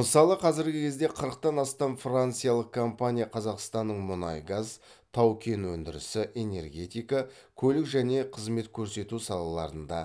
мысалы қазіргі кезде қырықтан астам франциялық компания қазақстанның мұнай газ тау кен өндірісі энергетика көлік және қызмет көрсету салаларында